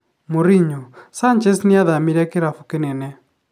Mourinho: Sanchez nĩathamĩire kĩrabu kĩnene.